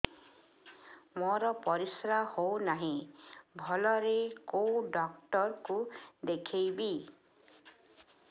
ମୋର ପରିଶ୍ରା ହଉନାହିଁ ଭଲରେ କୋଉ ଡକ୍ଟର କୁ ଦେଖେଇବି